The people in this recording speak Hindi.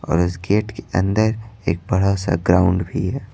और उस गेट के अंदर एक बड़ा सा ग्राउंड भी है।